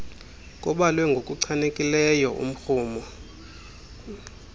kubalwe ngokuchanekileyo umrhumo